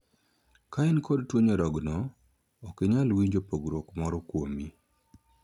Ka in kod tuo nyarogno, ok inyal winjo pogruok moro kuomi.